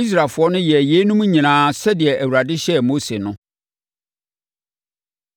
Israelfoɔ no yɛɛ yeinom nyinaa sɛdeɛ Awurade hyɛɛ Mose no.